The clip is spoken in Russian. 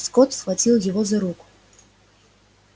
скотт схватил его за руку